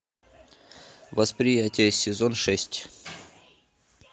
восприятие сезон шесть